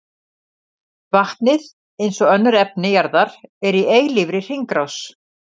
Vatnið, eins og önnur efni jarðar, er í eilífri hringrás.